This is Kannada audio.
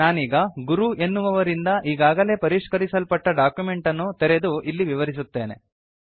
ನಾನೀಗ ಗುರು ಎನ್ನುವವರಿಂದ ಈಗಾಗಲೇ ಪರಿಷ್ಕರಿಸಲ್ಪಟ್ಟ ಡಾಕ್ಯುಮೆಂಟ್ ಅನ್ನು ತೆರೆದು ಇದನ್ನು ವಿವರಿಸುತ್ತೇನೆ